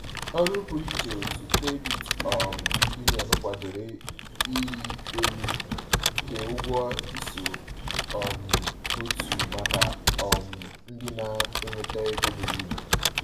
Ọrụ pụrụ iche nke otu credit um union kwadoro ịrị elu nke ụgwọ iso um n’otu maka um ndị na-enweta ego buru ibu.